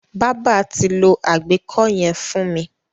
Bábà ti lo àgbẹ́kó yẹn fún mi.